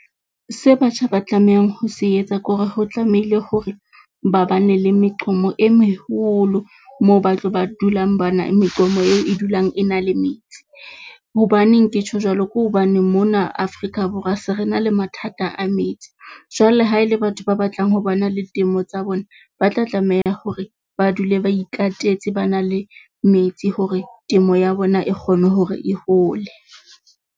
Se batjha ba tlamehang ho se etsa ke hore ho tlamehile hore ba ba ne le meqomo e meholo moo ba tlo ba dulang bana meqomong eo e dulang e na le metsi. Hobaneng ke tjho jwalo? Ke hobane mona Afrika Borwa se re na le mathata a metsi. Jwale ha ele batho ba batlang ho ba na le temo tsa bona, ba tla tlameha hore ba dule ba ikatetse ba na le metsi hore temo ya bona e kgone hore e hole.